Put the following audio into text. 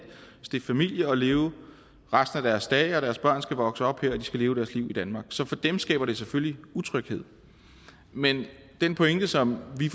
stifte familie og leve resten af deres dage her og deres børn skal vokse op her og de skal leve deres liv i danmark så for dem skaber det selvfølgelig utryghed men den pointe som vi